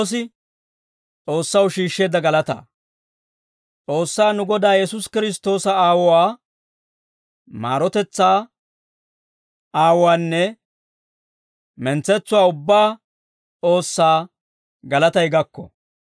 S'oossaa nu Godaa Yesuusi Kiristtoosa Aawuwaa, maarotetsaa Aawuwaanne mentsetsuwaa ubbaa S'oossaa galatay gakko;